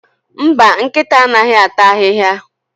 Mba, nkịta anaghịata ahịhịa?